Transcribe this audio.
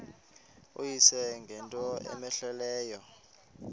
uyise ngento cmehleleyo